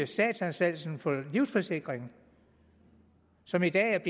statsanstalten for livsforsikring som i dag er